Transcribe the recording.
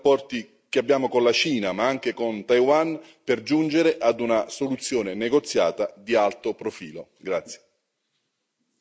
Dobbiamo utilizzare i buoni rapporti che abbiamo con la Cina, ma anche con Taiwan, per giungere a una soluzione negoziata di alto profilo.